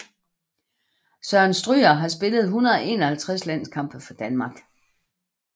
Søren Stryger har spillet 151 landskampe for Danmark